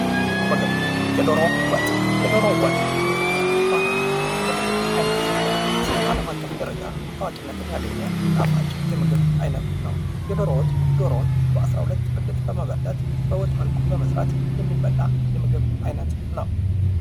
ምግብ የዶሮ ወጥ በኢትዮጵያ ባህላዊ የምግብ አይነት ሲሆን ፤ እስከ ዓለም አቀፍ ደረጃ ታዋቂነትን ያገኘ ጣፋጭ የምግብ አይነት ነው። የ ዶሮ ወጥ ዶሮን በ 12 ብልት በመበለት በወጥ መልኩ በመስራት የሚበላ የምግብ አይነት ነው።